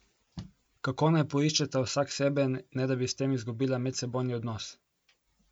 Kako naj poiščeta vsak sebe, ne da bi s tem izgubila medsebojni odnos?